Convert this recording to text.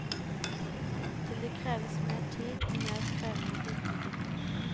Til det kreves mer tid og mer krevende dybdedykk.